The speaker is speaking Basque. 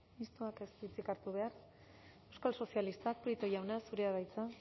mistoak ez du hitzik hartu behar euskal sozialistak prieto jauna zurea da hitza